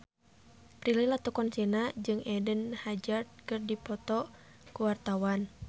Prilly Latuconsina jeung Eden Hazard keur dipoto ku wartawan